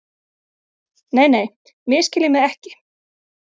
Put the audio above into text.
Nei, nei, misskiljið mig ekki.